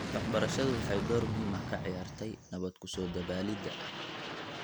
Waxbarashadu waxay door muhiim ah ka ciyaartay nabad ku soo dabaalida .